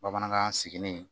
Bamanankan sigilen